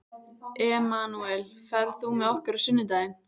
Emanúel, ferð þú með okkur á sunnudaginn?